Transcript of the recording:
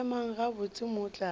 emang gabotse ka moo tlase